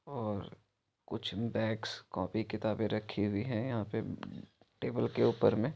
और कुछ bags copy किताबे रखी हुई है यहां पे टेबल के ऊपर मे---